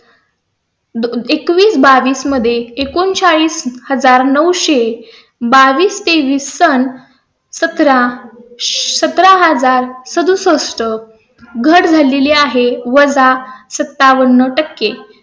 एकवीस बावीस मध्ये एकोणचाळीस हजार नऊ सो बावीस सण सतरा सतरा हजार सदुसष्ट घट झालेली आहे सत्तावन्न टक्के.